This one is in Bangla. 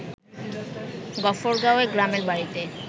গফরগাঁওএ গ্রামের বাড়িতে